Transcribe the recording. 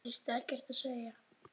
Það þurfti ekkert að segja.